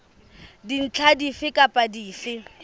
dintlha dife kapa dife tse